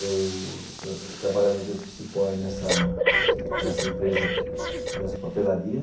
Eu trabalhava de office boy nessa nessa empresa, nessa papelaria.